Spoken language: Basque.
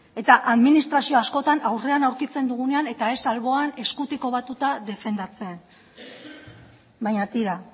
eta administrazioa askotan aurrean aurkitzen dugunean eta ez alboan eskutik defendatzen baina tira